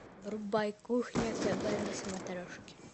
врубай кухня тв на смотрешке